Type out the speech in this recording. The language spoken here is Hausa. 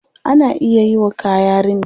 Ana iya yiwa kaya rini.